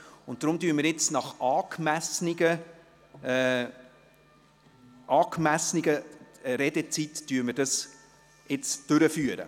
Deshalb führen wir die Beratung mit den angemessenen Redezeiten durch.